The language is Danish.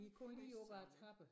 I første sal